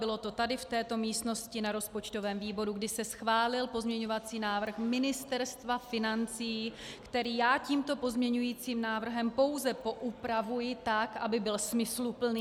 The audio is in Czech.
Bylo to tady v této místnosti na rozpočtovém výboru, kdy se schválil pozměňující návrh Ministerstva financí, který já tímto pozměňujícím návrhem pouze poupravuji tak, aby byl smysluplný.